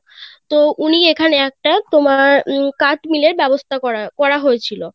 তো উনি এখানে একটা তোমার উম কাঠ মিলের ব্যবস্থা করার করা হয়েছিল